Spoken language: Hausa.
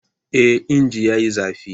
Eh! injin yayi zafi.